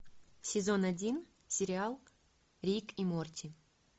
сезон один сериал рик и морти